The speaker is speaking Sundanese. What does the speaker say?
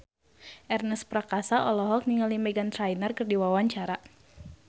Ernest Prakasa olohok ningali Meghan Trainor keur diwawancara